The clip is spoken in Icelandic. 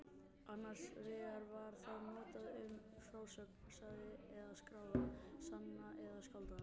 Annars vegar var það notað um frásögn, sagða eða skráða, sanna eða skáldaða.